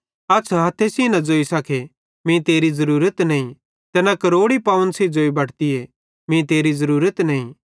अछ़ हथ्थे सेइं न ज़ोई सके मीं तेरी ज़रूरत नईं ते न क्रोड़ी पवन सेइं ज़ोई बटतीए मीं तेरी ज़रूरत नईं